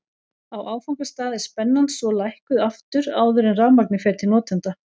Á áfangastað er spennan svo lækkuð aftur áður en rafmagnið fer til notenda.